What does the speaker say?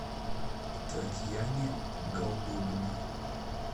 татьяне голдобиной